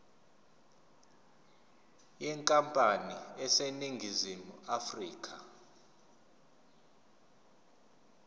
yenkampani eseningizimu afrika